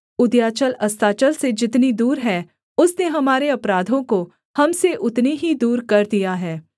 उदयाचल अस्ताचल से जितनी दूर है उसने हमारे अपराधों को हम से उतनी ही दूर कर दिया है